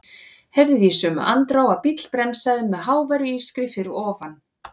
Heyrði í sömu andrá að bíll bremsaði með háværu ískri fyrir ofan.